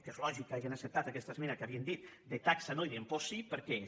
que és lògic que hagin acceptat aquesta esmena que havien dit de taxa no i d’impost sí perquè és